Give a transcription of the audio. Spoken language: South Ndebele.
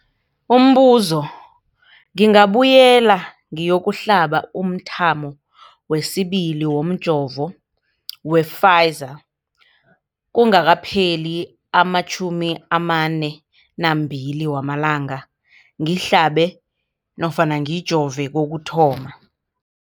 Umbuzo, ngingabuyela ngiyokuhlaba umthamo wesibili womjovo we-Pfizer kungakapheli ama-42 wamalanga ngihlabe nofana ngijove kokuthoma.